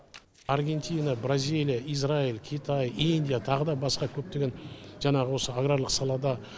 аргентина бразилия израиль китай индия тағы да басқа көптеген жаңағы осы аграрлық салада